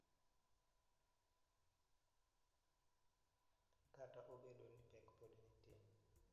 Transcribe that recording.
Kata obedo ni pek pod nitie.